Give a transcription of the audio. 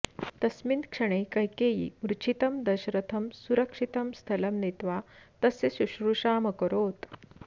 तस्मिन् क्षणे कैकेयी मूर्च्छितं दशरथं सुरक्षितं स्थलं नीत्वा तस्य शुश्रूषामकरोत्